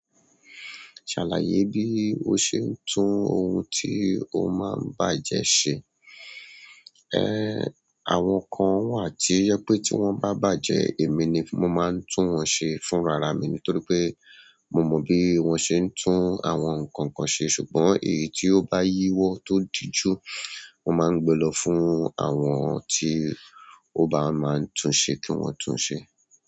Ṣàlàyé bí o ṣe ń tún ohun tí o máa ń bàjẹ́ ṣe. Ehn, àwọn kan wà tí oje pé tí wọ́n bá bàjẹ́ èmi ni mo máa ń tún wọn ṣe fún rara mi nítorí pé mo mọ bí wọ́n ṣe ń tún àwọn nǹkan kan ṣe ṣùgbọ́n èyí tí ó bá yíwọ́ tó díjú, mo máa ń gbe lọ fún àwọn tí ó bá máa ń tún ṣe kí wọ́n tún ṣe.